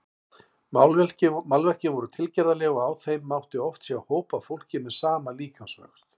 Málverkin voru tilgerðarleg og á þeim mátti oft sjá hóp af fólki með sama líkamsvöxt.